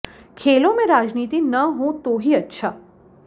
खेलों में राजनीति न हो तो ही अच्छा